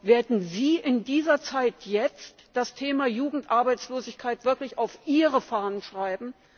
Werden Sie in dieser Zeit jetzt das Thema Jugendarbeitslosigkeit wirklich auf Ihre Fahnen schreiben?